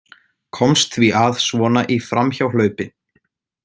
Komst því að svona í framhjáhlaupi.